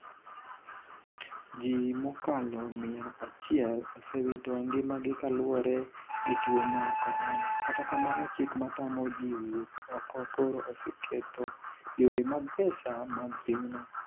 jii mokalo mia achiel osewito ngimagi kaluwre gi tuo mar korona. Kata kamano chik matamo ji wuok oko koro oseketho yore mag pesa mag pinyno